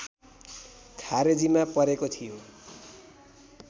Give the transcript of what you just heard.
खारेजीमा परेको थियो